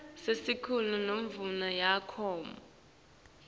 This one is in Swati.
sicelo semvumo yemakhono